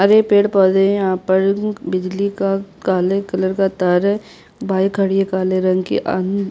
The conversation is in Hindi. हरे पेड़ - पौधे है यहाँ पर बिजली का काले कलर का तार है बाइक खड़ी है काले रंग की अम्म --